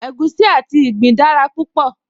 Egusi àti ìgbín dára púpọ̀